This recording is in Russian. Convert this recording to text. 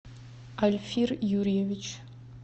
альфир юрьевич